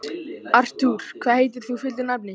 Artúr, hvað heitir þú fullu nafni?